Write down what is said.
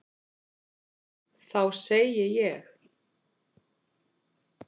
Þá segi ég.